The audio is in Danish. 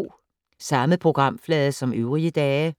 Samme programflade som øvrige dage